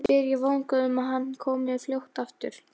spyr ég vongóð um að hann komi fljótt aftur.